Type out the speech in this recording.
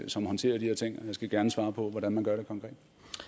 som håndterer de her ting og jeg skal gerne svare på hvordan man gør det konkret